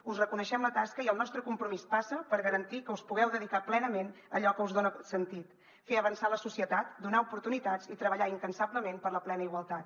us reconeixem la tasca i el nostre compromís passa per garantir que us pugueu dedicar plenament a allò que us dona sentit fer avançar la societat donar oportunitats i treballar incansablement per la plena igualtat